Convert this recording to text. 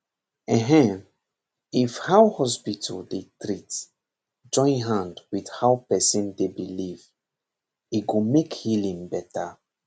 enh if how hospital dey treat join hand with how person dey believe e go make healing better